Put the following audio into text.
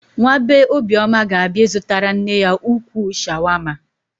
Nwa bee Obioma ga-abịa ịzụtara nne ya ukwuu shawama.